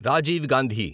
Rajiv Gandhi